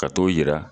Ka t'o yira